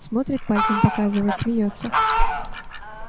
смотрит пальцем показывает смеётся